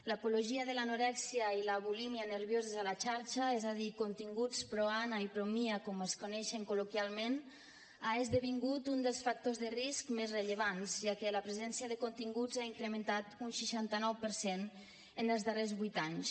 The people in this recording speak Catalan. l’apologia de l’anorèxia i la bulímia nervioses a la xarxa és a dir continguts pro ana i pro mia com es coneixen col·loquialment ha esdevingut uns dels factors de risc més rellevants ja que la presència de continguts s’ha incrementat un seixanta nou per cent en els darrers vuit anys